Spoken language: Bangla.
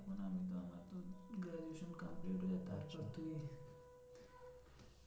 আর দুদিন তার জন্যে